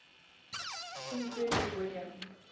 king frederick william